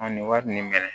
nin wari nin bɛ